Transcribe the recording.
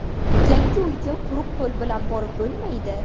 Yangi uyga quruq qo‘l bilan borib bo‘lmaydi.